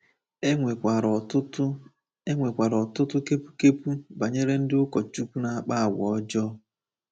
E nwekwara ọtụtụ E nwekwara ọtụtụ kepu kepu banyere ndị ụkọchukwu na-akpa àgwà ọjọọ.